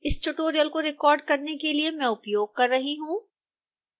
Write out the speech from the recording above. इस tutorial को record करने के लिए मैं उपयोग कर रही हूँ